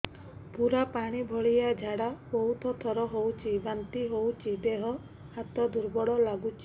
ପୁରା ପାଣି ଭଳିଆ ଝାଡା ବହୁତ ଥର ହଉଛି ବାନ୍ତି ହଉଚି ଦେହ ହାତ ଦୁର୍ବଳ ଲାଗୁଚି